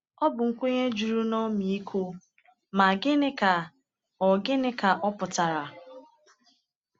Ọ bụ nkwenye juru n’ọmịiko, ma gịnị ka ọ gịnị ka ọ pụtara?